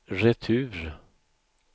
retur